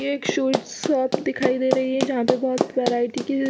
एक sweet shop दिखाई दे रही है जहाँ पे बहुत वैरायटी की --